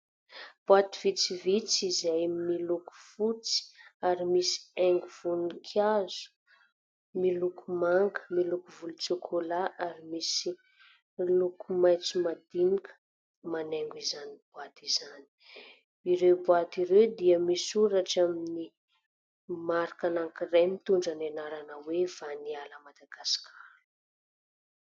Boaty vitsivitsy izay miloko fotsy ary misy haingo voninkazo miloko manga, miloko volontsôkôla ary misy miloko maitso madinika manaingo izany boaty izany. Ireo boaty ireo dia misoratra amin'ny marika anankiray mitondra ny anarana hoe : "Vaniala Madagascar".